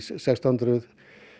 sextán hundruð